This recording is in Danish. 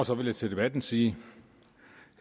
så vil jeg til debatten sige